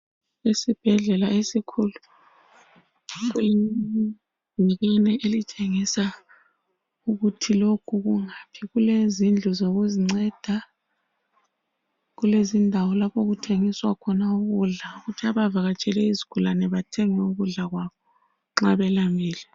Isibhedlela esikhulu. Kulebhakani elitshengisa ukuthi lokhu kungaphi. Kulezindlu zokuzinceda. Kulezindawo lapho okuthengiswa khona ukudla ukuthi abavakatsheleyo izigulane bathenge ukudla kwabo nxa belambile.